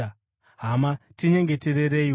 Hama, tinyengeterereiwo.